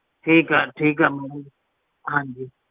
sir ਮੈਂ ਤੁਹਾਨੂੰ